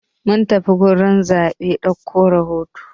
Mun tafi gurin zaɓe dauko rahoto.